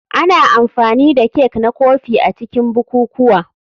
Ana amfani da kek na kofi a cikin bukukuwa.